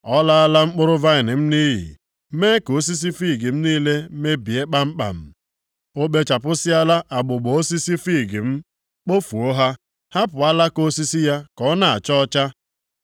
Ọ laala mkpụrụ vaịnị m nʼiyi mee ka osisi fiig m niile mebie kpamkpam. O kpechapụsịala agbụgbọ osisi fiig m, kpofuo ha, hapụ alaka osisi ya ka ọ na-acha ọcha.